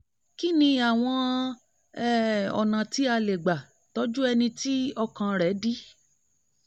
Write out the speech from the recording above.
kí ni àwọn um ọ̀nà tí a lè gbà tọ́jú ẹni tí ọkàn rẹ̀ dí?